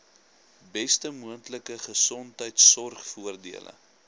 beste moontlike gesondheidsorgvoordele